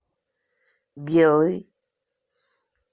белый